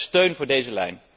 Verder steun voor deze lijn.